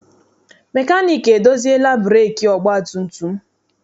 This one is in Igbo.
Mekaniiki edoziela breekị ọgbatumtum m.